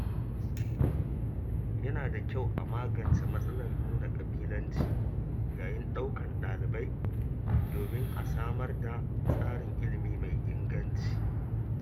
Yana da kyau a magance matsalar nuna ƙabilanci yayin ɗaukar dalibai, domin a sanar da tsarin ilimi mai inganci.